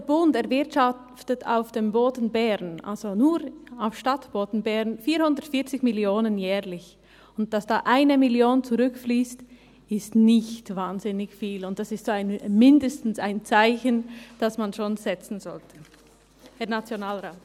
Der Bund erwirtschaftet auf dem Stadtboden von Bern jährlich 440 Mio. Franken, und dass da 1 Mio. Franken zurückfliesst, ist nicht wahnsinnig viel, aber das ist mindestens ein Zeichen, das man schon setzten sollte, Herr Nationalrat.